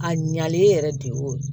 A ɲalen yɛrɛ de y'o ye